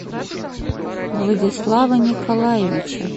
владислава николаевича